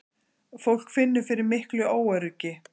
Fólk finnur fyrir miklu óöryggi